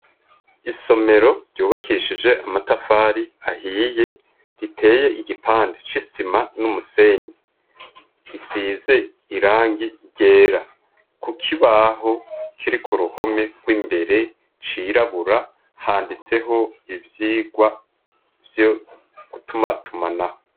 Isomero ryubakishije amatafari ahiye, riteye igipande c'isima n'umusenyi, isize irangi ryera, kukibaho kiri k'uruhome rw'imbere cirabura, handitseho ivyigwa vyo gutumatumanako.